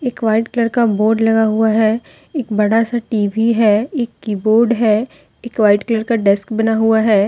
एक white colour का board लगा हुआ है एक बड़ा सा टी_वी है एक कीबोर्ड है एक वाइट कलर का डेस्क बना हुआ है।